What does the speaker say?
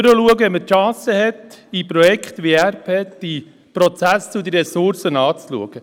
Nach vorne schauen, wenn man die Chance hat, bei Projekten wie ERP die Prozesse zu den Ressourcen anzuschauen.